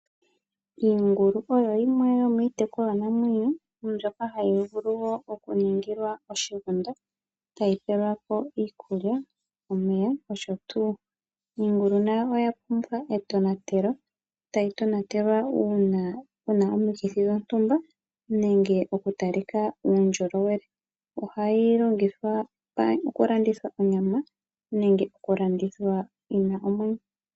Iingulu oyo yimwe yomiitekulwa namwenyo mbyoka hayi vulu oku ningilwa oshigunda etayi pelwa ko iikulya, omeya, nosho tuu. Iingulu nayo oya pumbwa etonatelo tayi tonatelwa uuna puna omikithi dhontumba nenge okutalika uundjolowele. Ohayi longithwa oku landithwa onyama nenge okulandithwa omwenyo.